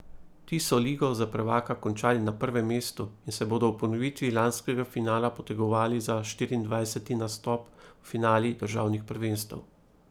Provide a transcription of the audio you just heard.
Ti so ligo za prvaka končali na prvem mestu in se bodo v ponovitvi lanskega finala potegovali za štiriindvajseti nastop v finalih državnih prvenstev.